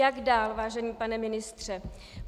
Jak dál, vážený pane ministře?